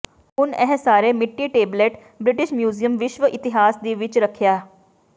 ਹੁਣ ਇਹ ਸਾਰੇ ਮਿੱਟੀ ਟੇਬਲੇਟ ਬ੍ਰਿਟਿਸ਼ ਮਿਊਜ਼ੀਅਮ ਵਿਸ਼ਵ ਇਤਿਹਾਸ ਦੀ ਵਿੱਚ ਰੱਖਿਆ